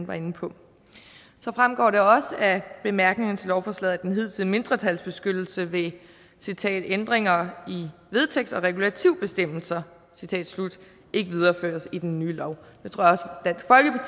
var inde på så fremgår det også af bemærkningerne til lovforslaget at den hidtidige mindretalsbeskyttelse ved ændringer i vedtægts og regulativbestemmelser ikke videreføres i den nye lov